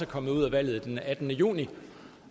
kommet ud af valget den attende juni